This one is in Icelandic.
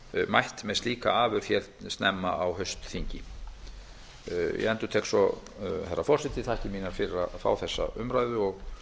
mætt með slíka afurð hér snemma á haustþingi ég endurtek svo herra forseti þakkir mínar fyrir að fá þessa umræðu og vona